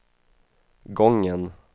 gången